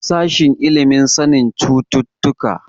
Sashen ilimin sanin cututtuka.